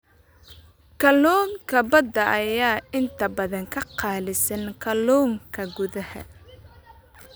Kalluunka badda ayaa inta badan ka qaalisan kalluunka gudaha.